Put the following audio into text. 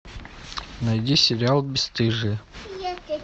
найди сериал бесстыжие